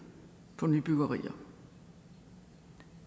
for nybyggerier